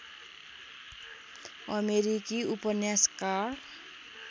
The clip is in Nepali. अमेरिकी उपन्यासकार